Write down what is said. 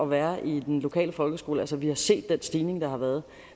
være i den lokale folkeskole altså vi har set den stigning der har været